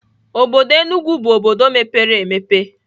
Obodo Enugwu bụ obodo mepere emepe.